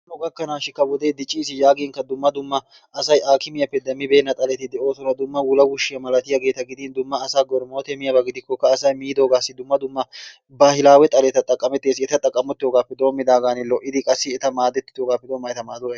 Hanno gakkanawukka wodee dicciis yaaginkka asay aakkimiyaappe demmibeenna xaleti dee'oosonna. Dumma wulawushiya malatiyageeta gidin dumma asaa goromootee miyabaa gidikokka asay miidoogaassi asay dumma dumma baahilawe xaleta xaqamettees. Eta xaqamettoogaappe doomidaagan lo'idi qassi eta madettoogaappe doomidaagan eta maaduwa.